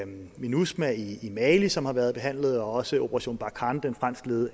minusma i mali som har været behandlet og også operation barkhane den fransk ledede